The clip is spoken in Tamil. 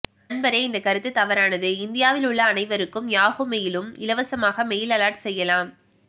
நண்பரே இந்த கருத்து தவறானது இந்தியாவில் உள்ள அனைவருக்கும் யாஹூ மெயில் லும் இலவசமாக மெயில் அலெர்ட் செய்யலாம்